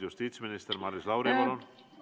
Justiitsminister Maris Lauri, palun!